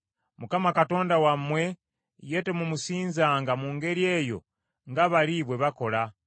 Mukama Katonda wammwe, ye temumusinzanga mu ngeri eyo nga bali bwe bakola.